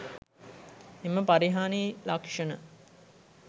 එම පරිහානි ලක්ෂණ